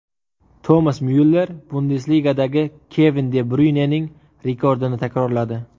Tomas Myuller Bundesligada Kevin de Bryuynening rekordini takrorladi.